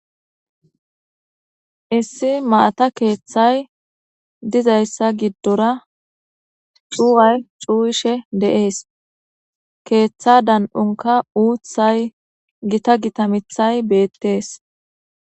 Issi maata keethay dizaysa gidora cuway cuwishe de'es keetha dan'onka uthay gita Gita mithay beetes